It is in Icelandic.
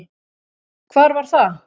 Hvar var það?